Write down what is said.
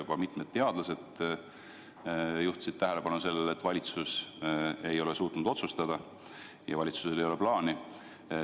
Ka mitmed teadlased juhtisid tähelepanu sellele, et valitsus ei ole suutnud otsustada, et valitsusel ei ole plaani.